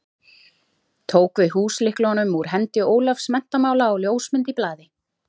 Tók við húslyklunum úr hendi Ólafs menntamála á ljósmynd í blaði.